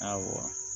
Awɔ